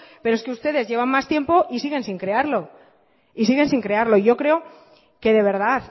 pero es que ustedes llevan más tiempo y siguen sin crearlo siguen sin crearlo yo creo que de verdad